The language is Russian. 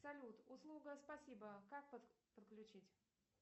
салют услуга спасибо как подключить